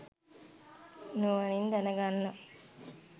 නුවණින් දැනගන්නවා.